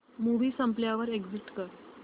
movie संपल्यावर exit कर